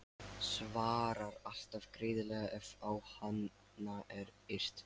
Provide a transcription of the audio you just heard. Svarar alltaf greiðlega ef á hana er yrt.